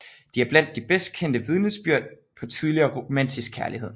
De er blandt de bedst kendte vidnesbyrd på tidlig romantisk kærlighed